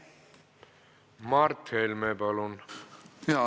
Mart Helme, palun!